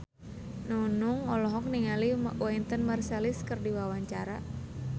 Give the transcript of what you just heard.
Nunung olohok ningali Wynton Marsalis keur diwawancara